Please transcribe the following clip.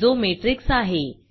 जो मॅट्रिक्स आहे